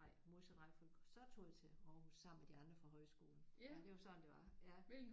ej modsat rækkefølge så tog jeg til Aarhus sammen med de andre fra højskolen. Ja det var sådan det var ja